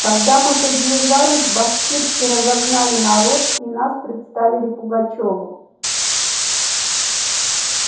когда мы приближились башкирцы разогнали народ и нас представили пугачёву